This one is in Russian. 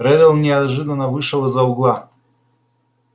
реддл неожиданно вышел из-за угла